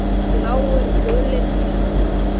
Bláir, gulir og svartir.